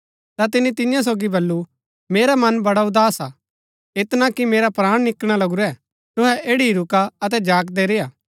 ता तिनी तियां सोगी बल्लू मेरा मन बड़ा उदास हा ऐतना कि मेरै प्राण निकलणा लगुरै तुहै ऐड़ी ही रूका अतै जागदै रेय्आ